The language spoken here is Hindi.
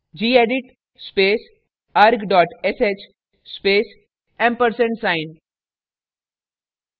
gedit space arg sh space & ampersand sign